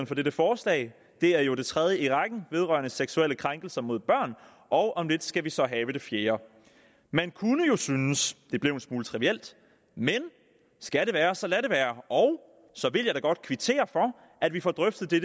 for dette forslag det er jo det tredje i rækken vedrørende seksuelle krænkelser mod børn og om lidt skal vi så have det fjerde man kunne måske synes det blev en smule trivielt men skal det være så lad det være og så vil jeg da godt kvittere for at vi får drøftet det